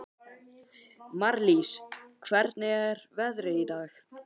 Marlís, hvernig er veðrið í dag?